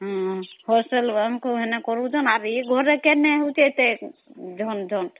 ହଁ ବେଳେ ଘରେ କାଇଁ ଏତେ ଝଣ ଝଣ ଅମ୍